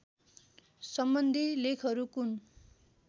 सम्बन्धी लेखहरू कुन